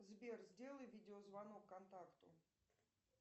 сбер сделай видеозвонок контакту